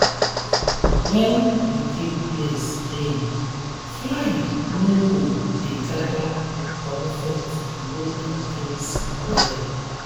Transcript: when you keep place clean fly no go dey gather comfort go increase well.